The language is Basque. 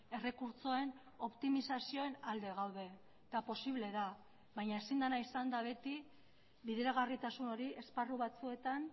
errekurtsoen optimizazioen alde gaude eta posible da baina ezin dena izan da beti bideragarritasun hori esparru batzuetan